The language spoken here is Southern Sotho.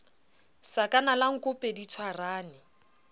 sakana la nkope di tshwarane